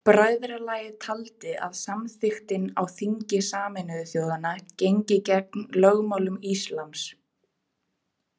Bræðralagið taldi að samþykktin á þingi Sameinuðu þjóðanna gengi gegn lögmálum íslams.